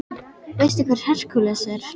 Veistu hver Hercules er?